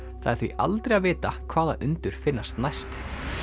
það er því aldrei að vita hvaða undur finnast næst